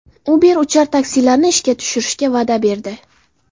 Uber uchar taksilarni ishga tushirishga va’da berdi.